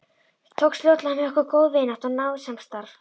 Tókst fljótlega með okkur góð vinátta og náið samstarf.